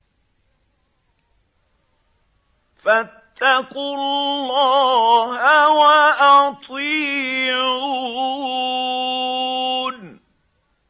فَاتَّقُوا اللَّهَ وَأَطِيعُونِ